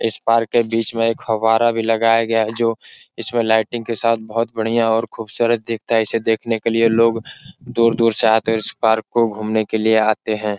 इस पार्क के बिच में एक फव्वारा भी लगाया गया है जो इसमें लाइटिंग के साथ बहुत बढ़िया और खुबसूरत दिखता है। इसे देखने के लिए लोग दूर-दूर से आते है और इस पार्क को घूमने के लिए आते हैं।